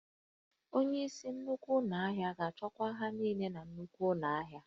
Onyeisi nnukwu ụlọ ahịa ga-achịkwa ihe niile na nnukwu ụlọ ahịa